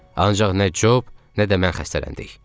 Ancaq nə Cob, nə də mən xəstələndik.